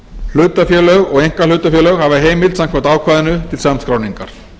hlutafélög og einkahlutafélög hafa heimild samkvæmt ákvæðinu til samskráningar